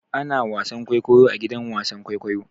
Ana wasan kwaikwayo a gidan wasan kwaikwayo.